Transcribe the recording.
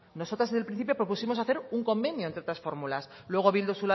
nosotras desde el principio propusimos hacer un convenio entre otras fórmulas luego bildu